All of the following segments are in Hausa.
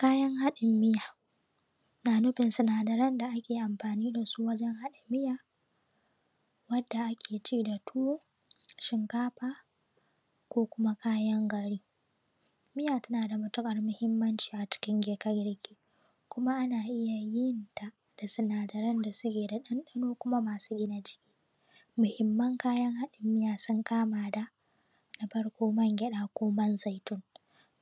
Kayan haɗin miya, na nufin sinadaran da ake amfani dasu wajen haɗin miya wadda ake ci da tuwo, shinkafa, ko kuma kayan gari. Miya tana da matuƙar muhimmanci a cikin girke-girke, kuma ana iya yinta da sinadaran da suke da ɗandano kuma masu gina jiki. Muhimman kayan haɗin miya sun kama da, Na farko man gyaɗa ko man zaitun,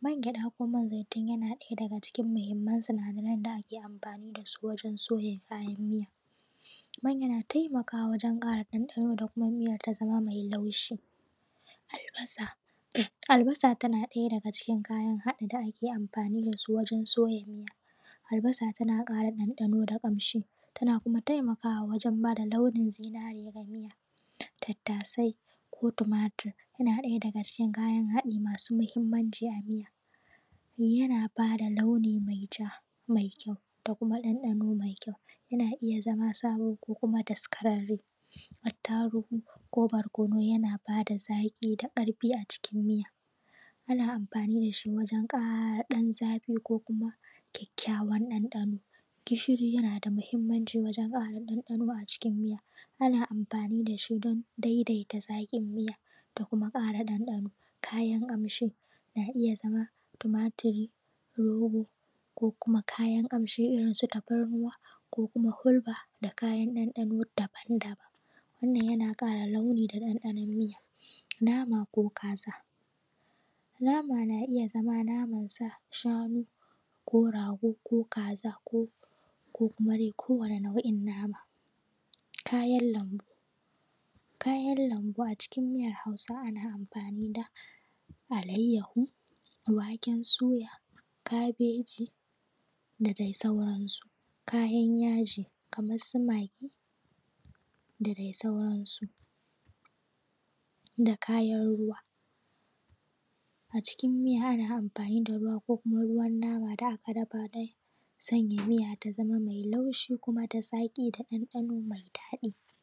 man gyaɗa ko man zaitun yana daya daga cikin muhimman sinadaran da ake amfani dasu wajen soya kayan miya, man yana taimakawa wajen ƙara ɗanɗano da kuma miya ta zamo mai laushi. Albasa: albasa tana ɗaya daga cikin kayan haɗin da ake amfani dasu wajen soya miya, albasa tana ƙara ɗanɗano da ƙamshi, tana kuma taimakawa wajen bada launin zinare ga miya. Tattasai ko tumatir: yana daga daga cikin kayan haɗi masu mahimmanci a miya, yana bada launi mai ja mai kyau da kuma ɗanɗano mai kyau, yana iya zaka sabo ko kuma daskararre. Attarugu ko barkonu: yana bada zaƙi da ƙarfi a cikin miya, ana amfani dashi wajen ƙara ɗan zafi ko kuma kyakkyawan ɗanɗano. Gishiri yana da mahimmanci wajen ƙara ɗanɗano a cikin miya, ana amfani dashi don daidaita zaƙin miya da kuma ƙara ɗanɗano. Kayan ƙamshi na iya zama tumatiri, romo, ko kuma kayan kamshi irin su tafarnuwa, ko kuma hulba da kayan ɗanɗano dabam-dabam. Wannan yana kara launi da ɗanɗanon miya. Nama ko kaza, nama na iya zama naman sa, shanu ko rago ko kaza ko kuma kowani nau’in nama. Kayan lambu: kayan lambu a cikin miyar Hausa ana amfani da alaiyahu, waken suya, kabeji, da dai sauransu. Kayan yaji: kamar su magi da dai sauransu. Da kayan ruwa, a cikin miya ana amfani da ruwa ko kuma ruwan nama da aka dafa dai, sanya miya ta zamo laushi da zaƙi da ɗanɗano mai daɗi. s